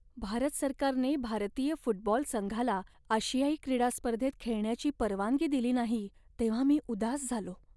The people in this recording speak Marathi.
भारत सरकारने भारतीय फुटबॉल संघाला आशियाई क्रीडा स्पर्धेत खेळण्याची परवानगी दिली नाही तेव्हा मी उदास झालो.